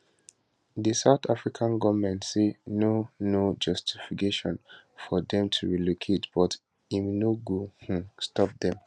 di south african goment say no no justification for dem to relocate but im no go um stop dem